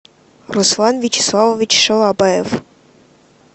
руслан вячеславович шалабаев